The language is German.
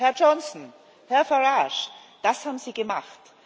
Herr Johnson, Herr Farage, das haben Sie gemacht.